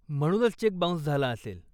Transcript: म्हणूनच cheque bounce झाला असेल.